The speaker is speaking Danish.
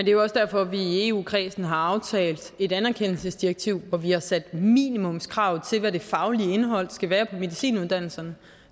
er jo også derfor at vi i eu kredsen har aftalt et anerkendelsesdirektiv hvor vi har sat minimumskrav til hvad det faglige indhold skal være på medicinuddannelserne